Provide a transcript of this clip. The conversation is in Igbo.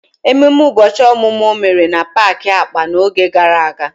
Ememe ụbọchị ọmụmụ o mere na paaki akpa n'oge gara aga?